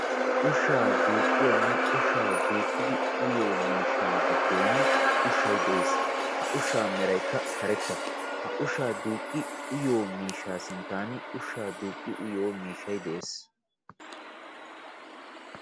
Ushshaa duuqqiyonne ushshaa duuqidi uyiyo miishshaa giddon ushshay dees. Ha ushshaa meraykka karetta. Ha ushshaa duuqqi uyiyo miishshaa sinttaan ushshaa duuqqi uyiyo miishshay de'ees.